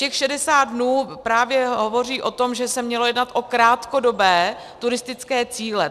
Těch 60 dnů právě hovoří o tom, že se mělo jednat o krátkodobé turistické cíle.